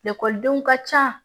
Ekɔlidenw ka ca